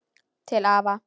Til afa.